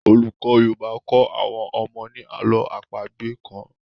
olùkó yorùbá kọ àwọn ọmọ ni àlọ́ àpagbè kán